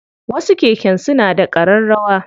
Wasu keken suna da ƙararrawa.